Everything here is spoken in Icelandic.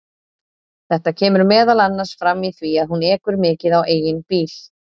Þetta kemur meðal annars fram í því að hún ekur mikið á eigin bíl.